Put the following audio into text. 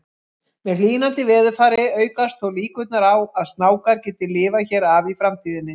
Með hlýnandi veðurfari aukast þó líkurnar á að snákar geti lifað hér af í framtíðinni.